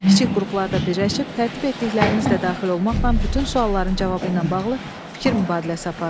Kiçik qruplarda birləşib tərtib etdiklərinizlə daxil olmaqla bütün sualların cavabı ilə bağlı fikir mübadiləsi aparın.